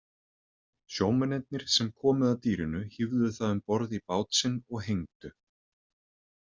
Sjómennirnir sem komu að dýrinu hífðu það um borð í bát sinn og hengdu.